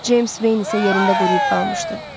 Ceyms isə yerində quruyub qalmışdı.